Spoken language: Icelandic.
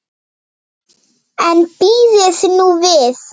En bíðið nú við.